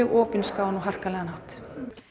opinskáan og harkalegan hátt